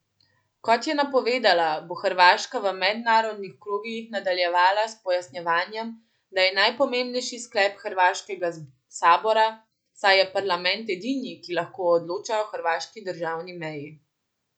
Kot je napovedala, bo Hrvaška v mednarodnih krogih nadaljevala s pojasnjevanjem, da je najpomembnejši sklep hrvaškega sabora, saj je parlament edini, ki lahko odloča o hrvaški državni meji.